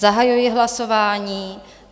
Zahajuji hlasování.